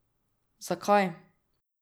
Zakaj?